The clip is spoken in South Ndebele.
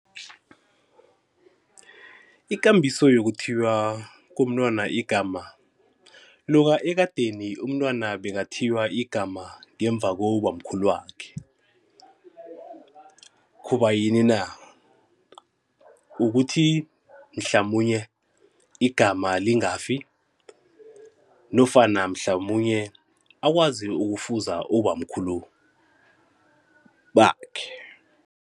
Ikambiso yokuthiywa komntwana igama loka ekadeni umntwana bekathiywa igama ngemva kobamkhulu wakhe. Khubayini na? Ukuthi mhlamunye igama lingafi nofana mhlamunye akwazi ukufuza ubamkhulu bakhe.